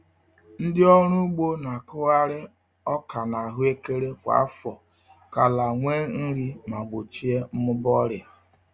Ndị ọrụ ugbo na-akụgharị ọka na ahụekere kwa afọ ka ala nwee nri ma gbochie mmụba ọrịa.